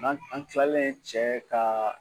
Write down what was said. N'an an kilalen cɛ ka